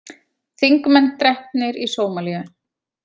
Þingmenn drepnir í Sómalíu